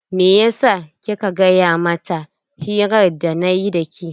Meyasa kika gaya mata hirar da nayi da ke?